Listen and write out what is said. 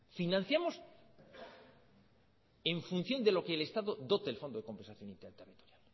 financiamos en función de lo que el estado dote el fondo de compensación interterritorial